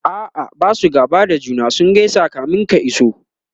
a'a Basu gaba da juna ,sun gaisa kamin ka iso